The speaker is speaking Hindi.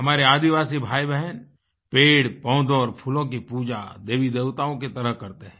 हमारे आदिवासी भाईबहन पेड़पौधों और फूलों की पूजा देवीदेवताओं की तरह करते हैं